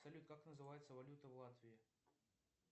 салют как называется валюта в латвии